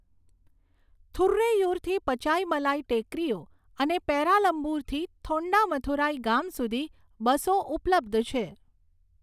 થુરૈયુરથી પચાઈમલાઈ ટેકરીઓ અને પેરામ્બલૂરથી થોંડામંથુરાઈ ગામ સુધી બસો ઉપલબ્ધ છે.